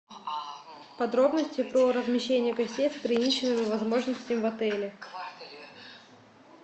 подробности по размещению гостей с ограниченными возможностями в отеле